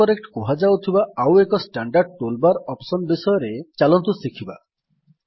autocorrect କୁହାଯାଉଥିବା ଆଉ ଏକ ଷ୍ଟାଣ୍ଡାର୍ଡ ଟୁଲ୍ ବାର୍ ଅପ୍ସନ୍ ବିଷୟରେ ଚାଲନ୍ତୁ ଶିଖିବା